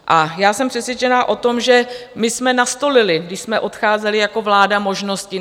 A já jsem přesvědčená o tom, že my jsme nastolili, když jsme odcházeli jako vláda, možnosti.